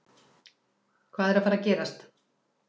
Hvað er að fara að gerast?